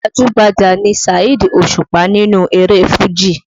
Gbajú-gbajà ni Saheed Òṣùpá nínú eré Fuji